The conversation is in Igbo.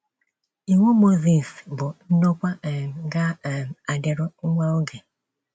Iwu Mozis bụ ndokwa um ga um - adịru nwa oge.